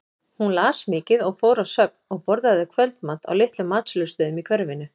Hún las mikið og fór á söfn og borðaði kvöldmat á litlum matsölustöðum í hverfinu.